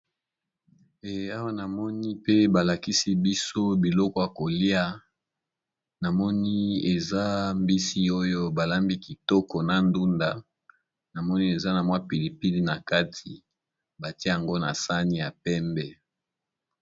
eyawa na moni pe balakisi biso biloko ya kolia na moni eza mbisi oyo balambi kitoko na ndunda na moni eza na mwa pilipide na kati batia yango na sane ya pembe